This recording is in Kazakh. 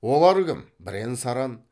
олар кім бірен саран